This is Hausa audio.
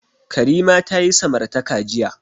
Karima ta yi samartaka jiya.